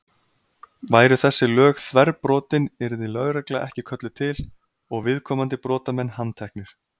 Væru þessi lög þverbrotin yrði lögregla ekki kölluð til og viðkomandi brotamenn handteknir.